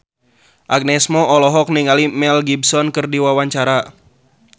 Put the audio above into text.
Agnes Mo olohok ningali Mel Gibson keur diwawancara